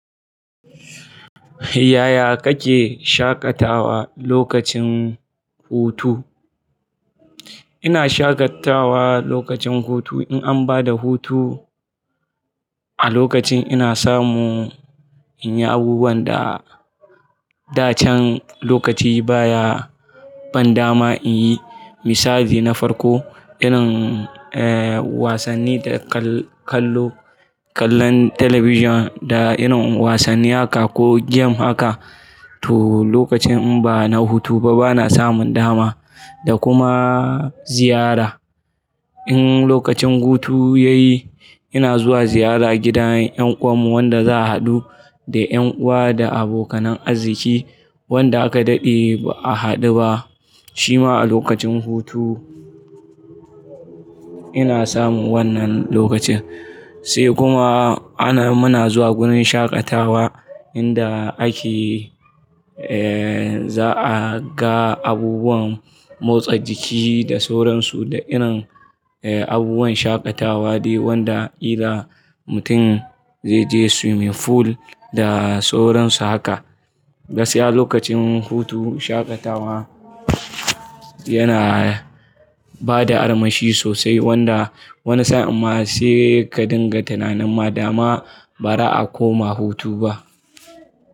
Yaya kake shaƙatawa lokacin hutu? Ina shaƙatawa lokacin hutu in an bada hutu, a lokacin ina samu in yi abubuwan da dacan lokaci baya ban dama in yi, misali na farko irin eh wasanni da kallo, kallon talabijin da irin wasanni haka ko game haka. To lokacin in bana hutu ba bana samun dama da kuma ziyara. In lokacin hutu ya yi ina zuwa ziyara gidan ƴan uwan mu wanda za a haɗu da ƴan uwa da abokanan arziki wanda aka daɗe ba a haɗu ba. Shima a lokacin hutu ina samu wannan lokacin. Sai kuma ana muna zuwa gurin shaƙatawa inda ake eh za a ga abubuwan motsa jiki da sauran su da irin eh abubuwan shaƙatawa dai wanda illa mutum zai je swimming pool da sauran su haka. Gaskiya lokacin hutu shaƙatawa yana bada armashi sosai wanda wani sa'an amma sai ka dinga tunanin ma dama ba ra a koma hutu ba.